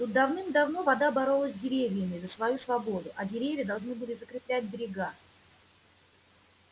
тут давным-давно вода боролась с деревьями за свою свободу а деревья должны были закреплять берега